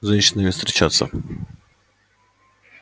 с женщинами встречаться